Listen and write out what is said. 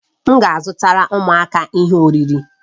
M ga-azụtara ụmụaka ihe oriri